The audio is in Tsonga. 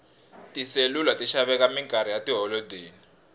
tiselula ti xaveka minkarhi ya tiholodeni